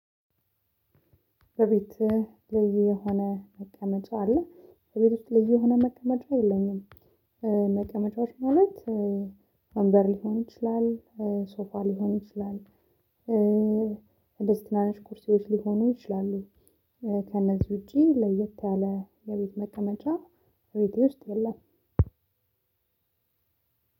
በቤት ልዩ የሆነ መቀመጫ አለ በቤት ውስጥ ልዩ የሆነ መቀመጫ የለኝም። መቀመጫዎች ማለት ወንበር ሊሆን ይችላል ሶፋ ሊሆን ይችላል እንደዚ ትናንሽ ቅርሶች ሊሆኑ ይችላሉ። ከነዚህ ውጪ ለየት ያለ የቤት መቀመጫ ቤቴ ውስጥ የለም